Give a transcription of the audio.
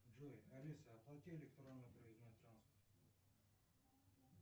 джой алиса оплати электронный проездной транспорт